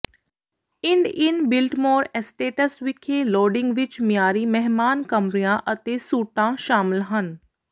ਇੰਡ inn Biltmore estates ਵਿਖੇ lodging ਵਿੱਚ ਮਿਆਰੀ ਮਹਿਮਾਨ ਕਮਰਿਆਂ ਅਤੇ ਸੂਟਾਂ ਸ਼ਾਮਲ ਹਨ